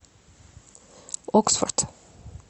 оксфорд